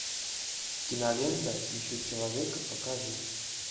кинолента ищу человека покажи